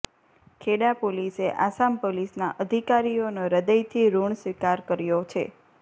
ખેડા પોલીસે આસામ પોલીસના અધિકારીઓનો હૃદયથી ઋણ સ્વીકાર કર્યો છે